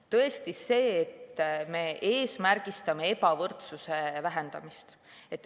Tõesti see, et me eesmärgistame ebavõrdsuse vähendamist.